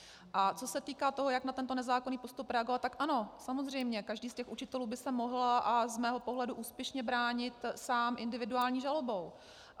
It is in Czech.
A co se týká toho, jak na tento nezákonný postup reagovat, tak ano, samozřejmě každý z těch učitelů by se mohl, a z mého pohledu úspěšně, bránit sám individuální žalobou.